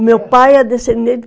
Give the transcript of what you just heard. O meu pai é descendente